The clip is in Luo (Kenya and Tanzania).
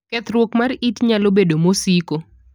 Kethruok mar it nalo bedo masiko.